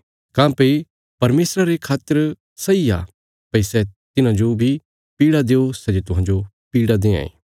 काँह्भई परमेशर सदा धार्मिकता ने न्याय करां तिस तिन्हां लोकां पर दुख ल्यौणा तिन्हेंजे तुहांजो दुख दित्तिरा